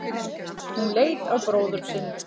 Hún leit á bróður sinn.